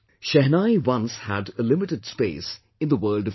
Shehnai once had a limited space in the world of music